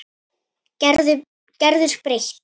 Gerður breytt.